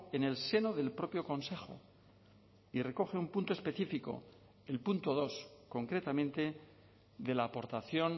en el seno del propio consejo y recoge un punto específico el punto dos concretamente de la aportación